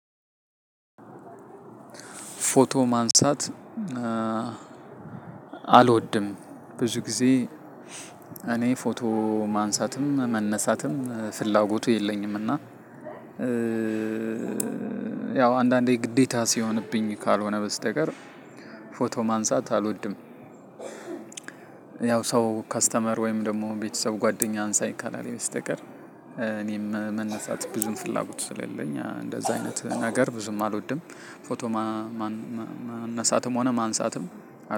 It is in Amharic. ፎቶ ማንሳት አልወድም። ብዙ ጊዜ እኔ ፎቶ ማንሳትም መነሳትም ፍላጎቱ የለኝምና። እና ያው አንዳንዴ ግዴታ ሲሆንብኝ ካልሆነ በስተቀር ፎቶ ማንሳት አልወድም። ያው ሰው ከስተመር ወይም ደግሞ ቤተሰብ ጓደኛ አንሳኝ ካላለኝ በስተቀር እኔም መነሳት ብዙም ፍላጎት ስለሌለኝ እንደዛ አይነት ነገር ብዙም አልወድም። ፎቶ መነሳትም ሆነ ማንሳትም